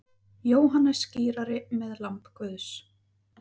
Jóhannes skírari með lamb Guðs.